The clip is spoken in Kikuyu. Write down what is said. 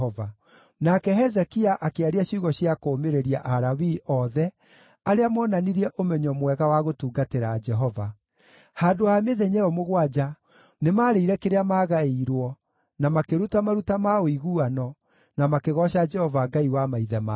Nake Hezekia akĩaria ciugo cia kũũmĩrĩria Alawii othe arĩa moonanirie ũmenyo mwega wa gũtungatĩra Jehova. Handũ ha mĩthenya ĩyo mũgwanja nĩmarĩire kĩrĩa maagaĩirwo, na makĩruta maruta ma ũiguano, na makĩgooca Jehova Ngai wa maithe mao.